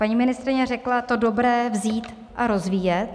Paní ministryně řekla: to dobré vzít a rozvíjet.